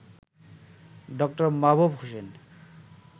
ড. মাহবুব হোসেন